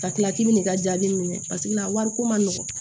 Ka tila k'i bin ka jaabi minɛ paseke a wari ko man nɔgɔn